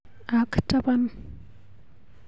Ak tapan.